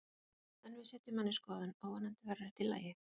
En við setjum hann í skoðun og vonandi verður þetta í lagi.